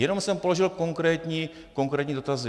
Jenom jsem položil konkrétní dotazy.